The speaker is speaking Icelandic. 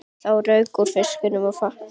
Það rauk úr fiskinum í fatinu.